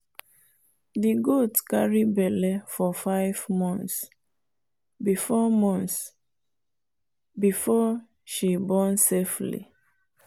the goat carry belle for five months before months before she born safely.